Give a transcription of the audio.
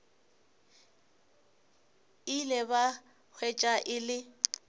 ile ba hwetša e le